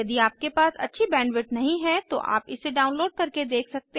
यदि आपके पास अच्छी बैंडविड्थ नहीं है तो आप इसे डाउनलोड करके देख सकते हैं